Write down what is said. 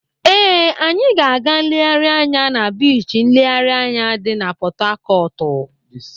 Ee, anyị ga-aga nlereanya na Biichi nlereanya dị na Pọtụakọtụ.